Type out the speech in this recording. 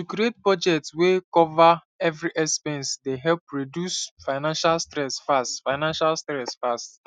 to create budget wey cover every expense dey help reduce financial stress fast financial stress fast